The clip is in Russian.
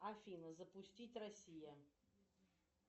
афина запустить россия